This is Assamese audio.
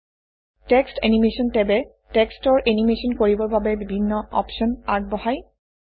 টেক্সট এনিমেশ্যন টেবে টেক্সটৰ এনিমেচন কৰিবৰ বাবে বিভিন্ন অপশ্যন আগবঢ়ায়